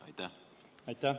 Aitäh!